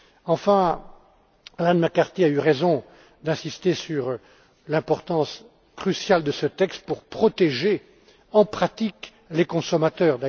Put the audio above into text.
Enfin, Arlene McCarthy a eu raison d'insister sur l'importance cruciale de ce texte pour protéger, en pratique, les consommateurs.